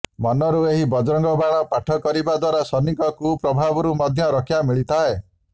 ମନରୁ ଏହି ବଜରଙ୍ଗ ବାଣ ପାଠ କରିବା ଦ୍ୱାରା ଶନିଙ୍କ କୁପ୍ରଭାବରୁ ମଧ୍ୟ ରକ୍ଷା ମିଳିଥାଏ